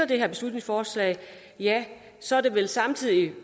det her beslutningsforslag ja så er det vel samtidig